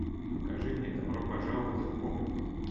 покажи мне добро пожаловать в поп